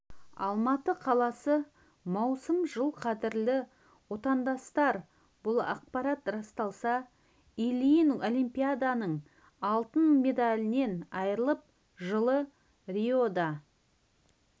алматы қаласы маусым жыл қадірлі отандастар бұл ақпарат расталса ильин олимпиаданың алтын медалінен айырылып жылы риода